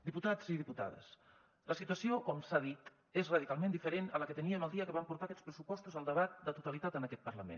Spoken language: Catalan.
diputats i diputades la situació com s’ha dit és radicalment diferent a la que teníem el dia que vam portar aquests pressupostos al debat de totalitat en aquest parlament